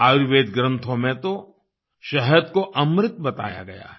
आयुर्वेद ग्रंथों में तो शहद को अमृत बताया गया है